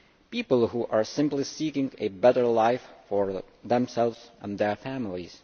people who are simply seeking a better life for themselves and their families.